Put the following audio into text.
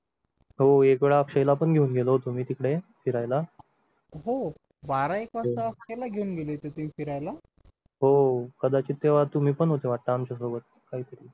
हो एकदा अक्षयला पण घेऊन गेलो होतो मी तिकडे फिरायला हो बारा एक वाजता अक्षय ला घेऊन गेले होते तुम्ही फिरायला हो कदाचित तेव्हा तुम्ही पण होते वाटतं आमच्या सोबत काहीतरी